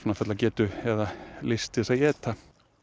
fulla getu eða lyst til þess að éta